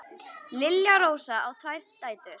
Lilja Rósa á tvær dætur.